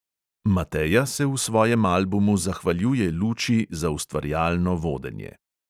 Mateja se v svojem albumu zahvaljuje luči za ustvarjalno vodenje.